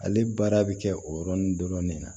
Ale baara bɛ kɛ o yɔrɔnin dɔrɔn de na